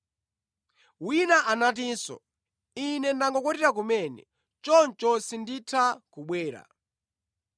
“Wina anatinso, ‘Ine ndangokwatira kumene, choncho sinditha kubwera.’